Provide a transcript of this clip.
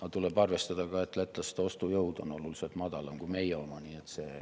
Aga tuleb arvestada, et lätlaste ostujõud on oluliselt väiksem kui meie oma.